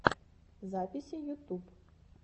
записи ютуб